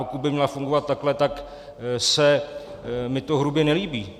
Pokud by měla fungovat takhle, tak se mi to hrubě nelíbí.